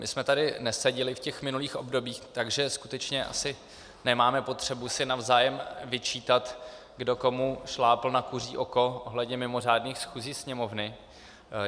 My jsme tady neseděli v těch minulých obdobích, takže skutečně asi nemáme potřebu si navzájem vyčítat, kdo komu šlápl na kuří oko ohledně mimořádných schůzí Sněmovny.